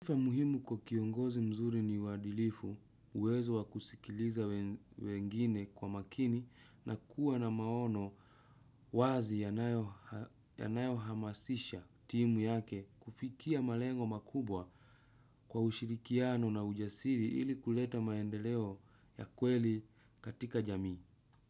Sifa muhimu kwa kiongozi mzuri ni wadilifu uwezo wakusikiliza wengine kwa makini na kuwa na maono wazi yanayo hamasisha timu yake kufikia malengo makubwa kwa ushirikiano na ujasiri ili kuleta maendeleo ya kweli katika jamii.